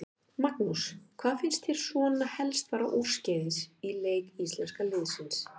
Magnús: Hvað fannst þér svona helst fara úrskeiðis í leik íslenska liðsins?